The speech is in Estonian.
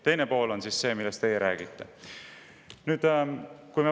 Teine pool on see, millest teie räägite.